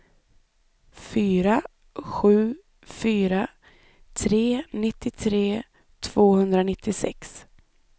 fyra sju fyra tre nittiotre tvåhundranittiosex